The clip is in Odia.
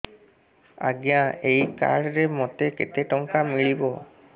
ଆଜ୍ଞା ଏଇ କାର୍ଡ ରେ ମୋତେ କେତେ ଟଙ୍କା ମିଳିବ